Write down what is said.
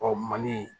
Ɔ mali